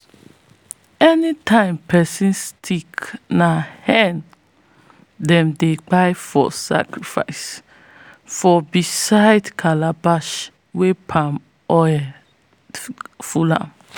anytime person sick na hen them dey kpai for sacrifice for beside calabash wey palm oil full am.